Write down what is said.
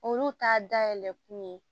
Olu t'a dayɛlɛ kun ye